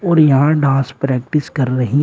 और यहां dance practice कर रही--